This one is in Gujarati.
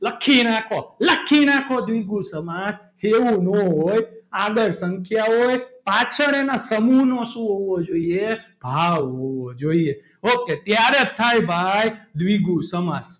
લખી રાખો લખી નાખો દ્વિગુ સમાસ એવું ન હોય આગળ સંખ્યા હોય પાછળ એના સમૂહનો શું હોવો જોઈએ ભાવ હોવો જોઈએ ok ત્યારે થાય ભાઈ દ્વિગુ સમાસ.